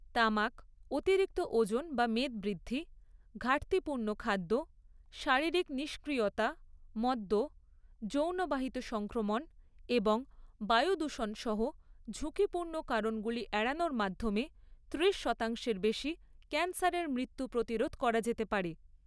তামাক, অতিরিক্ত ওজন বা মেদবৃদ্ধি, ঘাটতিপূর্ণ খাদ্য, শারীরিক নিষ্ক্রিয়তা, মদ্য, যৌনবাহিত সংক্রমণ এবং বায়ু দূষণ সহ ঝুঁকিপূর্ণ কারণগুলি এড়ানোর মাধ্যমে ত্রিশ শতাংশের বেশি ক্যান্সারের মৃত্যু প্রতিরোধ করা যেতে পারে।